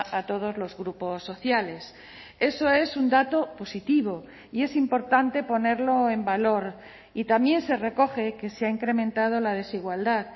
a todos los grupos sociales eso es un dato positivo y es importante ponerlo en valor y también se recoge que se ha incrementado la desigualdad